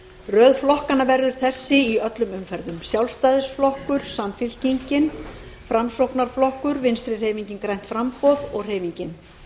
röð flokkanna verður þessi í öllum umferðum sjálfstæðisflokkur samfylkingin framsóknarflokkur vinstri hreyfingin grænt framboð og hreyfingin